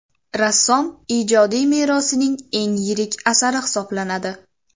Rassom ijodiy merosining eng yirik asari hisoblanadi.